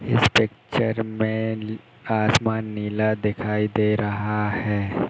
इस पिक्चर में ली आसमान नीला दिखाई दे रहा है।